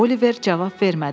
Oliver cavab vermədi.